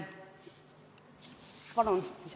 Palun lisaaega!